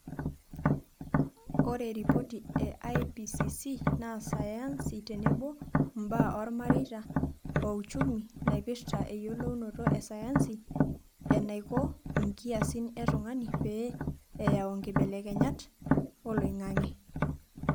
Ore ripoti e IPCC naa sayansi tenebo mbaa oolmareita o uchumi naipirta eyiolounoto e sayansi enaiko nkiasin e tungani pee eyau nkibelekenyat oloingange.